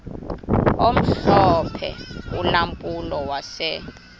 omhlophe ulampulo wase